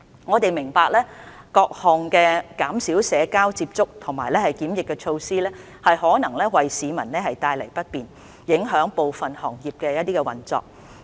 我們明白各項減少社交接觸和檢疫的措施可能為市民帶來不便，影響部分行業的運作。